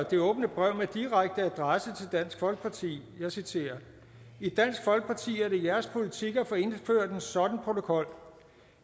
det åbne brev med direkte adresse til dansk folkeparti og jeg citerer i dansk folkeparti er det jeres politik at få indført en sådan protokol